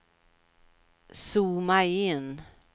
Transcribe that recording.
zooma in